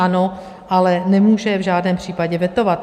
Ano, ale nemůže je v žádném případě vetovat.